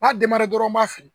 A b'a dɔrɔn n b'a feere